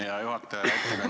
Hea juhataja!